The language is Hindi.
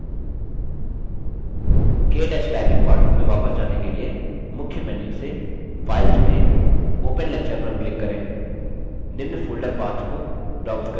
केto typing पाठों में वापस जाने के लिए मुख्य menu से file चुनें open lecture पर click करें निम्न folder path को browse करें